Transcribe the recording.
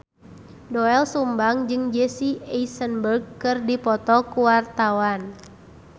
Doel Sumbang jeung Jesse Eisenberg keur dipoto ku wartawan